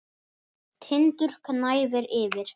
Tindur gnæfir yfir.